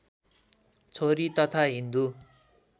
छोरी तथा हिन्दू